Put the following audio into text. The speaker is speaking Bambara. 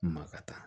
Ma ka taa